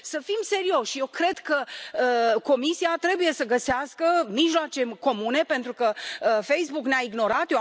Să fim serioși, eu cred că Comisia trebuie să găsească mijloace comune pentru că Facebook ne a ignorat.